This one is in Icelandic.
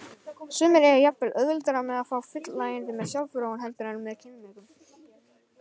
Sumir eiga jafnvel auðveldara með að fá fullnægingu með sjálfsfróun heldur en með kynmökum.